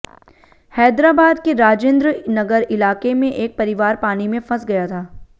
हैदराबाद के राजेंद्र नगर इलाके में एक परिवार पानी में फंस गया था